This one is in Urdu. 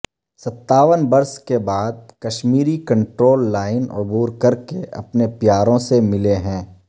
ستاون برس کے بعد کشمیری کنٹرول لائن عبور کر کے اپنے پیاروں سے ملے ہیں